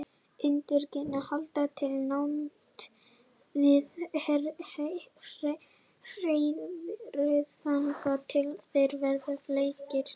ungarnir halda til í námunda við hreiðrið þangað til þeir verða fleygir